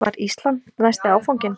Var Ísland næsti áfanginn?